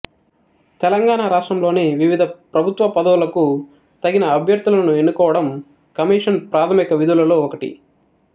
తెలంగాణ రాష్ట్రంలోని వివిధ ప్రభుత్వ పదవులకు తగిన అభ్యర్థులను ఎన్నుకోవడం కమిషన్ ప్రాధమిక విధులలో ఒకటి